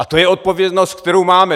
A to je odpovědnost, kterou máme.